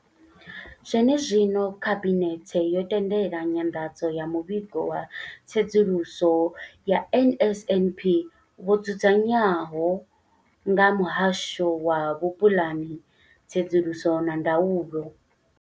Zwene zwino, Khabinethe yo tendela nyanḓadzo ya Muvhigo wa Tsedzuluso ya NSNP wo dzudzanywaho nga Muhasho wa Vhupulani, Tsedzuluso na Ndaulo.